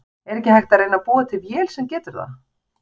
Er ekki hægt að reyna að búa til vél sem getur það?